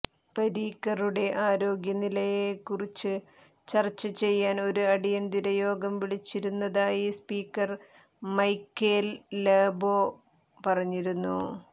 പരീക്കറുടെ ആരോഗ്യനിലയെക്കുറിച്ച് ചർച്ച ചെയ്യാൻ ഒരു അടിയന്തിര യോഗം വിളിച്ചിരുന്നതായി സ്പീക്കർ മൈക്കേൽ ലോബോ പറഞ്ഞിരുന്നു